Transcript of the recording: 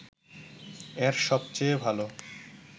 এর সবচেয়ে ভালো